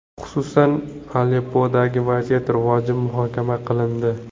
Xususan, Aleppodagi vaziyat rivoji muhokama qilindi.